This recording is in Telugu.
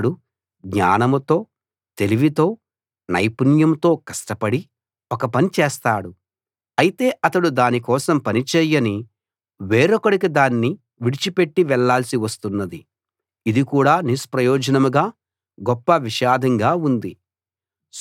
ఒకడు జ్ఞానంతో తెలివితో నైపుణ్యంతో కష్టపడి ఒక పని చేస్తాడు అయితే అతడు దాని కోసం పని చేయని వేరొకడికి దాన్ని విడిచిపెట్టి వెళ్ళాల్సి వస్తున్నది ఇది కూడా నిష్ప్రయోజనంగా గొప్ప విషాదంగా ఉంది